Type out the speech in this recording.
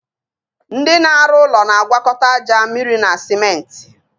Ndị na arụ ụlọ na agwakọta aja, mmịrị na simenti